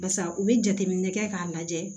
Barisa u bi jateminɛ kɛ k'a lajɛ